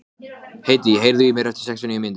Aðalbert, hvenær kemur nían?